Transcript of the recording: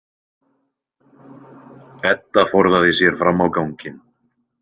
Edda forðaði sér fram á ganginn.